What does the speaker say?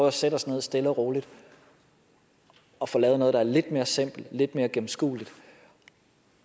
at sætte os ned stille og roligt og få lavet noget der er lidt mere simpelt og lidt mere gennemskueligt